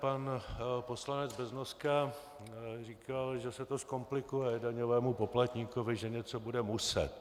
Pan poslanec Beznoska říkal, že se to zkomplikuje daňovému poplatníkovi, že něco bude muset.